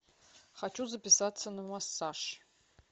хочу записаться на массаж